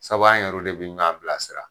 Sabu an yɛru de bi ɲɔan bilasira.